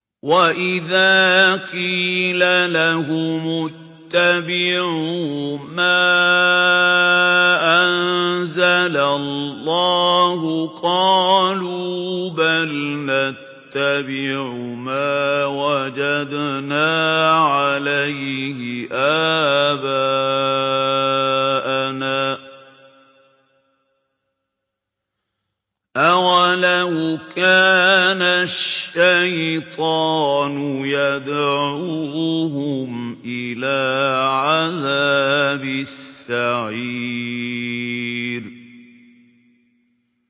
وَإِذَا قِيلَ لَهُمُ اتَّبِعُوا مَا أَنزَلَ اللَّهُ قَالُوا بَلْ نَتَّبِعُ مَا وَجَدْنَا عَلَيْهِ آبَاءَنَا ۚ أَوَلَوْ كَانَ الشَّيْطَانُ يَدْعُوهُمْ إِلَىٰ عَذَابِ السَّعِيرِ